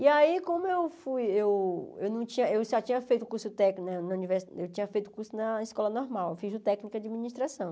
E aí como eu fui, eu eu não tinha eu só tinha feito curso técnico na na univer eu tinha feito o curso na escola normal, fiz o técnico de administração.